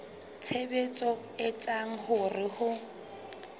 tshebetso e etsang hore ho